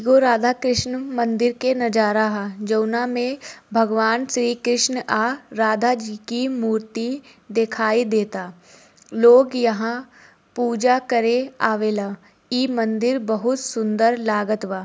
ये राधा कृष्ण मंदिर के नजारा ह जोना में भगवान श्री कृष्ण और राधा जी की मूर्ति देखाई देता लोग यहाँ पूजा करे आवेला इ मंदिर बहुत सुंदर लगतबा ।